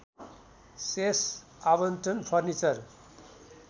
शेष आवन्टन फर्निचर